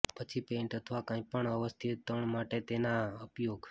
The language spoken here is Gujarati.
પછી પેઇન્ટ અથવા કંઈપણ અવ્યવસ્થિત તાણ માટે તેનો ઉપયોગ